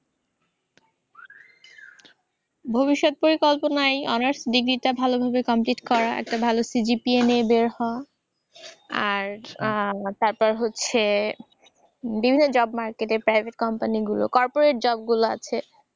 ভবিষ্যৎ পরিকল্পনা এই অনার্স ডিগ্রীটা ভালো ভাবে complete করা। একটা ভালো CGPA নিয়ে বের হওয়া। আর উম তারপর হচ্ছে বিভিন্ন job market এ private company গুলো corporate job গুলা আছে।